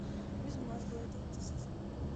безмозглые третий сезон